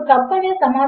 నిజమునకు ఇలా చేద్దాము